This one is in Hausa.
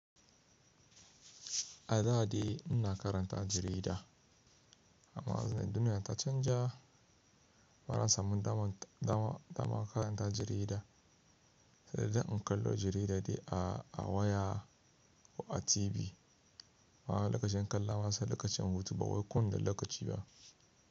A da dai ina karanta jarida amma a wannan duniya ta canja bana samun dama dama dama karanta jarida sai dai in kallo jarida dai a a waya ko a TV. Ma lakacin kalla ma sa lakacin hutu ba wai kuna lakaci ba.